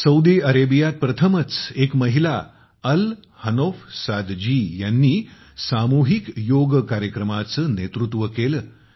Saudi अरेबियात प्रथमच एक महिला अल हनोफ सादजी ह्यांनी सामूहिक योग कार्यक्रमाचे नेतृत्व केले